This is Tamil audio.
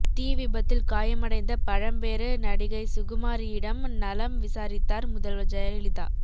தீ விபத்தில் காயமடைந்த பழம்பெரு நடிகை சுகுமாரியிடம் நலம் விசாரித்தார் முதல்வர் ஜெயலலிதா